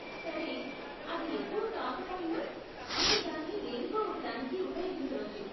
సరే, అది ఎక్కువ కాకపోయినా, నేను దాన్ని దేనికో ఒకదానికి ఉపయోగించవచ్చు.